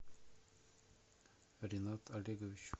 ринат олегович